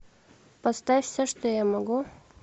поставь все что я могу